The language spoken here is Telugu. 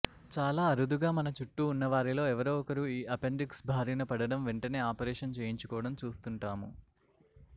చాలా అరుదుగా మన చుట్టుూ ఉన్నవారిలో ఎవరో ఒకరు ఈ అపెండిక్స్ భారిన పడటం వెంటనే ఆపరేషన్ చేయించుకోవడం చూస్తుంటాము